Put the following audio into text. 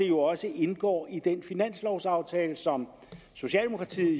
jo også indgår i den finanslovaftale som socialdemokratiet